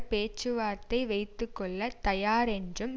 பேச்சுவார்த்தை வைத்து கொள்ள தயாரென்றும்